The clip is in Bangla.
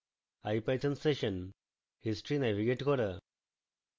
ipython session history navigate করা